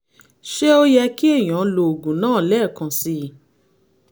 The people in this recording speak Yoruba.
ṣé ó yẹ kí èèyàn lo oògùn náà lẹ́ẹ̀kan sí i?